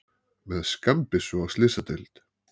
Með skammbyssu á slysadeild